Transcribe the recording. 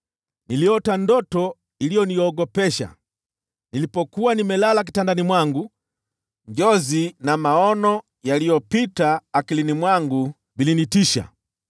Niliota ndoto iliyoniogopesha. Nilipokuwa nimelala kitandani mwangu, njozi na maono yaliyopita mawazoni mwangu vilinitisha.